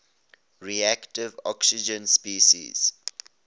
reactive oxygen species